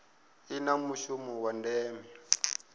i na mushumo wa ndeme